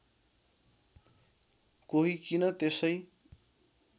कोही किन त्यसै